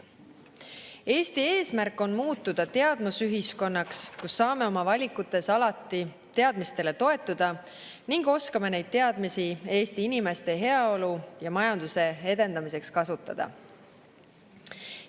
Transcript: Eesti eesmärk on muutuda teadmusühiskonnaks, kus saame oma valikutes alati teadmistele toetuda ning oskame neid teadmisi Eesti inimeste heaolu ja majanduse edendamiseks kasutada.